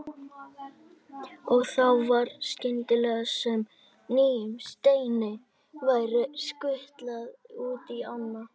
Og þá var skyndilega sem nýjum steini væri skutlað út í ána.